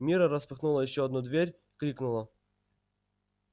мирра распахнула ещё одну дверь крикнула